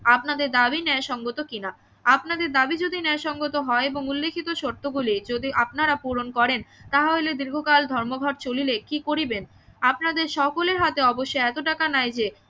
আপনাদের দাবি ন্যায় সঙ্গত কি না আপনাদের দাবি যদি ন্যায় সঙ্গত হয় এবং উল্লেখিত শর্ত গুলি যদি আপনারা পূরণ করেন তাহা হইলে দীর্ঘকাল ধর্মঘট চলিলে কি করিবেন আপনাদের সকলের হাতে অবশ্যই এতো টাকা নাই যে